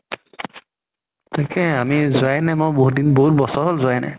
তাকে আমি যোৱাই নাই, মই বহুত দিন বহুত বছৰ হল যোৱাই নাই।